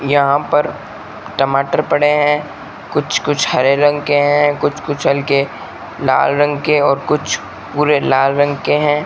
यहां पर टमाटर पड़े हैं कुछ कुछ हरे रंग के हैं कुछ कुछ हल्के लाल रंग के और कुछ पूरे लाल रंग के हैं।